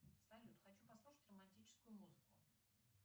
салют хочу послушать романтическую музыку